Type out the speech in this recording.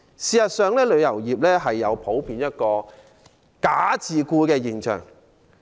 事實上，旅遊業普遍存在一個"假自僱"現象。